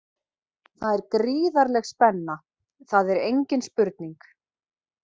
Það er gríðarleg spenna, það er engin spurning.